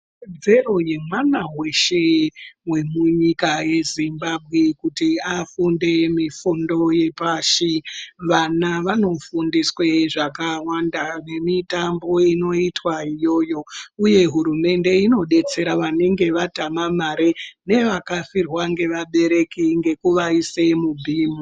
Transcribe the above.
Ikodzero yemwana weshe wemunyika yemuZimbabwe kuti afunde mifundo yepashi, vana vanofundiswe zvakawanda nemitambo inoitwa iyoyo uye hurumende inodetsera vanenge vatama mari nevakafirwa nevabereki ngekuvaise muBeam.